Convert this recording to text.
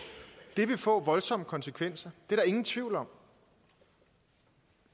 det vil få voldsomme konsekvenser det er der ingen tvivl om